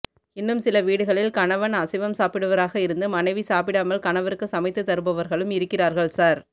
இன்னும் சில வீடுகளில் கணவன் அசைவம் சாப்பிடுபவராக இருந்து மனைவி சாப்பிடாமல் கணவருக்கு சமைத்து தருபவர்களும் இருக்கிறார்கள் சார்